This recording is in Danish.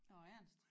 Nåh Ernst